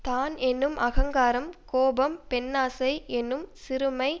தான் என்னும் அகங்காரம் கோபம் பெண்ணாசை என்னும் சிறுமை